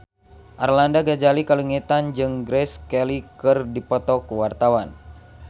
Arlanda Ghazali Langitan jeung Grace Kelly keur dipoto ku wartawan